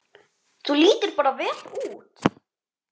Þú lítur bara vel út!